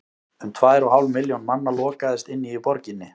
um tvær og hálf milljón manna lokaðist inni í borginni